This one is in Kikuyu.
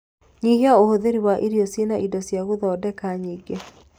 Nyihia ũhũthĩri wa irio ciĩna indio cia guthondeka nyingĩ